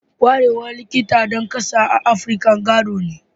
Kwarewar Likitan ɗan ƙasa a Afirka gado ne